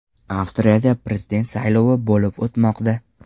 Avstriyada prezident saylovi bo‘lib o‘tmoqda.